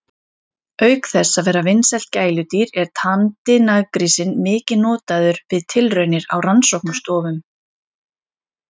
Auk þess að vera vinsælt gæludýr er tamdi naggrísinn mikið notaður við tilraunir á rannsóknastofum.